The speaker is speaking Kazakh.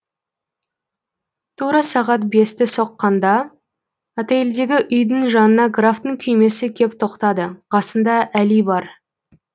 тура сағат бесті соққанда отейльдегі үйдің жанына графтың күймесі кеп тоқтады қасында әли бар